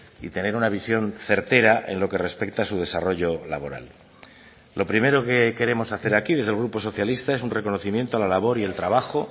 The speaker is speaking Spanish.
y tener una visión certera en lo que respecta a su desarrollo laboral lo primero que queremos hacer aquí desde el grupo socialista es un reconocimiento a la labor y el trabajo